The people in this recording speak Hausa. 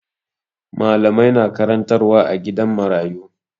Malamai na karantarwa a gidan marayu.